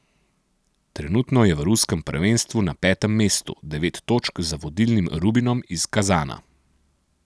Trenutno je v ruskem prvenstvu na petem mestu, devet točk za vodilnim Rubinom iz Kazana.